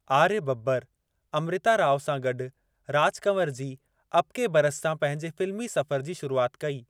आर्य बब्बर अमृता राव सां गॾु राज कंवर जी अब के बरस सां पंहिंजे फिल्मी सफ़र जी शुरुआत कई।